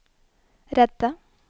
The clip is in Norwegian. redde